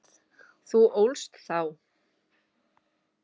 Þú ólst þá.